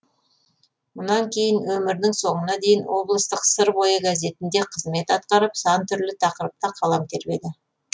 мұнан кейін өмірінің соңына дейін облыстық сыр бойы газетінде қызмет атқарып сан түрлі тақырыпта қалам тербеді